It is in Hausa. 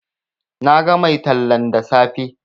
Na ga mai tallan da safe